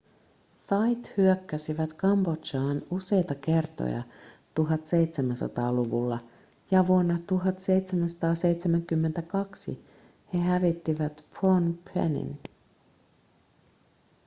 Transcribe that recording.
thait hyökkäsivät kambodžaan useita kertoja 1700-luvulla ja vuonna 1772 he hävittivät phnom phenin